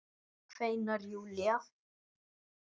kveinar Júlía.